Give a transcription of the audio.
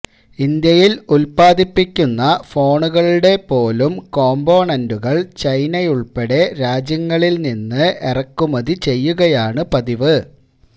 ഇന്ത്യയിൽ ഉത്പാദിപ്പിക്കുന്ന ഫോണുകളുടെ പോലും കോംപോണൻറുകൾ ചൈനയുൾപ്പെടെയുള്ള രാജ്യങ്ങളിൽ നിന്ന് ഇറക്കുമതി ചെയ്യുകയാണ് പതിവ്